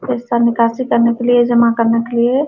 पैसा निकाशी करने के लिए जमा करने के लिए --